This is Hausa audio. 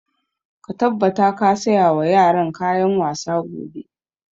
Ka tabbata ka saya wa yaran kayan wasa gobe!